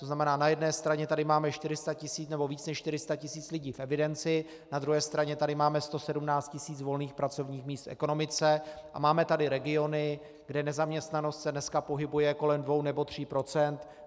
To znamená, na jedné straně tady máme 400 tisíc, nebo víc než 400 tisíc lidí v evidenci, na druhé straně tady máme 117 tisíc volných pracovních míst v ekonomice a máme tady regiony, kde nezaměstnanost se dneska pohybuje kolem dvou nebo tří procent.